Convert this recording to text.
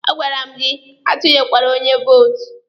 A gwara m gị atụnyekwere onye vootu!